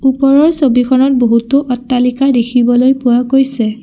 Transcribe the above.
ওপৰৰ ছবিখনত বহুতো অট্টালিকা দেখিবলৈ পোৱা গৈছে।